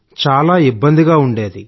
చాలా ఇబ్బందిగా ఉండేది